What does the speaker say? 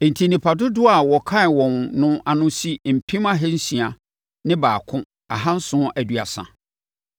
Enti, nnipa dodoɔ a wɔkan wɔn no ano si mpem ahansia ne baako ahanson aduasa (601,730).